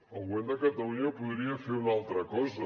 el govern de catalunya podria fer una altra cosa